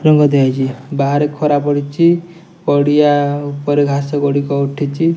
ରଙ୍ଗ ଦିଆ ହେଇଚି ବାହାରେ ଖରା ପଡ଼ିଚି ପଡିଆ ଉପରେ ଘାସ ଗୁଡ଼ିକ ଉଠିଚି।